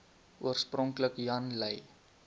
oorspronklik jan lui